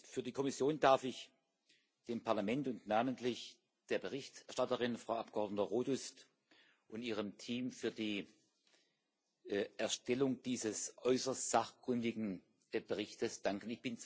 Für die Kommission darf ich dem Parlament und namentlich der Berichterstatterin, der Frau Abgeordneten Rodust, und ihrem Team für die Erstellung dieses äußerst sachkundigen Berichts danken.